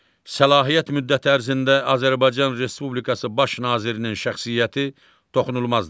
Səlahiyyət müddəti ərzində Azərbaycan Respublikası Baş Nazirinin şəxsiyyəti toxunulmazdır.